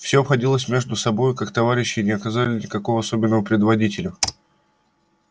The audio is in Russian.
все обходились между собою как товарищи и не оказывали никакого особенного предводителю